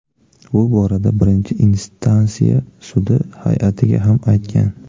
Bu borada birinchi instansiya sudi hay’atiga ham aytgan.